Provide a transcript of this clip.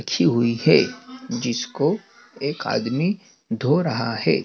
अच्छी हुई है जिसको एक आदमी धो रहा है।